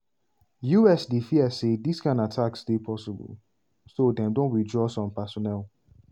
us dey fear say dis kain attacks dey possible and so dem don withdraw some personnel.